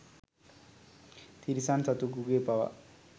තිරිසන් සතකුගේ පවා